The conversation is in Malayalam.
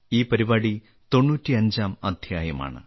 ഈ പരിപാടി 95ാം അദ്ധ്യായമാണ്